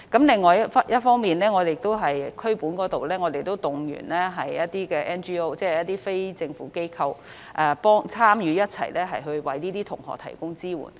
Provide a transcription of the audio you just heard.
另一方面，在區本層次則可動員一些 NGO 即非政府機構。一同參與為這些學生提供支援。